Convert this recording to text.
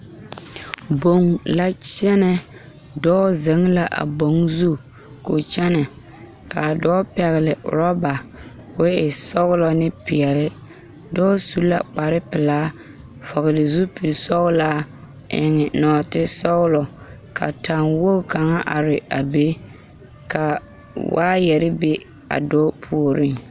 Boŋ la kyɛnɛ dɔɔ zeŋ la a boŋ zu ko kyɛnɛ kaa dɔɔ pɛgele orɔba ko e sɔgelɔ ne peɛle dɔɔ su la kpar pelaa vɔgele zupili sɔgelaa eŋe nɔɔte sɔgelɔ ka taŋ wogi kaŋ are a be ka waayɛre be a dɔɔ puoriŋ